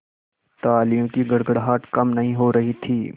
तालियों की गड़गड़ाहट कम नहीं हो रही थी